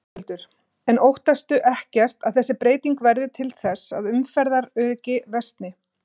Höskuldur: En óttastu ekkert að þessi breyting verði til þess að umferðaröryggi versni?